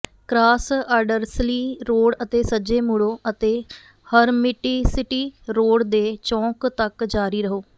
cross ਆਡਰਸਲੀ road ਅਤੇ ਸੱਜੇ ਮੁੜੋ ਅਤੇ ਹਰਮਿਟੀਸਿਟੀ ਰੋਡ ਦੇ ਚੌਂਕ ਤੱਕ ਜਾਰੀ ਰਹੋ